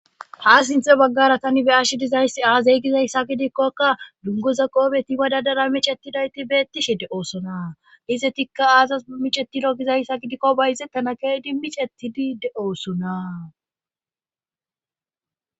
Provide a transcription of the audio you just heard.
Ha sinthe baggara tani be ash dizayssi aazey gizayssa gidikkokka dungoza qoobeti badadara micetidayti beettishe de oosona ize tikka aazas a micetido gizayssa gidikko bayzettana keedi micettidi de oosona